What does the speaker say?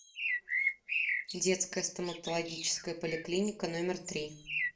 детская стоматологическая поликлиника номер три